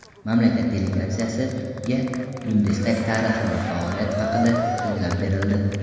Mamlakat delegatsiyasiga Bundestag tarixi va faoliyati haqida so‘zlab berildi.